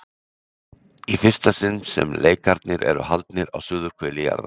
Í fyrsta sinn sem leikarnir eru haldnir á suðurhveli jarðar.